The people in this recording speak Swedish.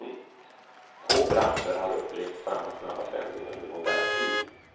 Få branscher har upplevt samma snabba förändring under modern tid.